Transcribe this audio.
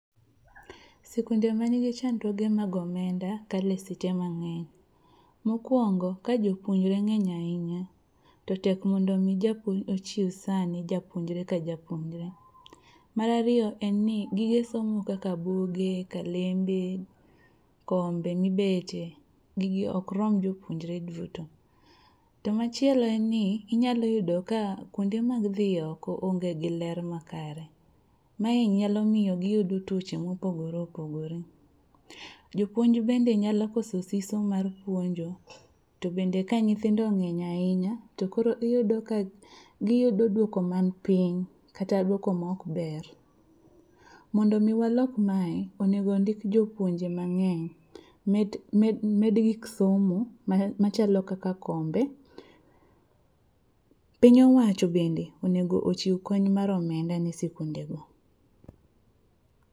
Sikunde manigi chandruoge mag omenda kale site mang'eny. Mokwongo ka jopuonjre ng'eny ahinya to tek mondo omi japuonj ochiw sane ne japuonjre ka japuonjre. Mar ariyo en ni gige somo kaka buge, kalembe, kombe mibete gigi okrom jopuonjre duto. To machielo en ni inyalo yudo ka kuonde mag dhi oko onge gi ler makare, mae nyalo miyo giyudo tuoche mopogore opogore. Jopuonj bende nyalo koso siso mar puonjo to bende ka nyithindo ng'eny ahinya to koro giyudo duoko man piny kata duok mokber. Mondo omi walok mae, onego ndik jopuonje mang'eny, med gik somo machalo kaka kombe. Piny owacho bende onego ochiw kony mar omenda ne sikundego.